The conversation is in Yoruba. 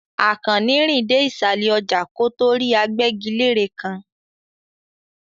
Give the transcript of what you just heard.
Àkànní rìn dé ìsàlẹ̀ ọjà kó tó rí agbẹ́gilére kan.